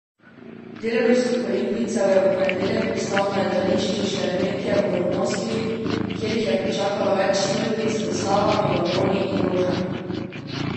Del ruskih olimpijcev je v ponedeljek pristal na letališču Šeremetjevo v Moskvi, kjer jih je pričakalo več sto ljudi z zastavami, baloni in rožami.